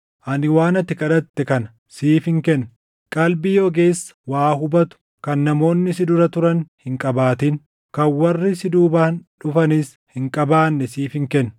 ani waan ati kadhatte kana siifin kenna. Qalbii ogeessa waa hubatu kan namoonni si dura turan hin qabaatin, kan warri si duubaan dhufanis hin qabaanne siifin kenna.